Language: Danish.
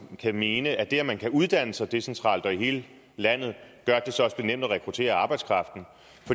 kan mene at det at man kan uddanne sig decentralt og i hele landet gør at det så også bliver nemt at rekruttere arbejdskraften